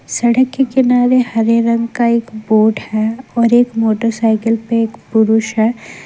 सड़क के किनारे हरे रंग का एक बोर्ड है और एक मोटर साइकिल पे एक पुरुष है।